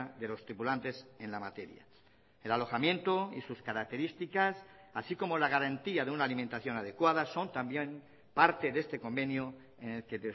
de los tripulantes en la materia el alojamiento y sus características así como la garantía de una alimentación adecuada son también parte de este convenio en el que